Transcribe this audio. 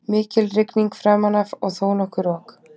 Mikil rigning framan af og þónokkuð rok.